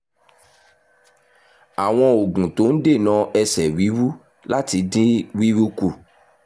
àwọn oògùn tó ń dènà ẹsẹ̀ wíwú láti dín wíwú kù